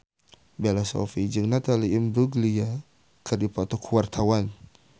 Bella Shofie jeung Natalie Imbruglia keur dipoto ku wartawan